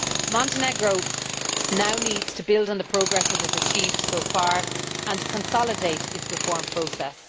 Montenegro now needs to build on the progress it has achieved so far and consolidate its reform process.